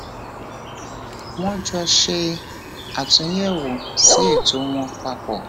wón jọ ṣe àtúnyẹwò sí ètò wọn papọ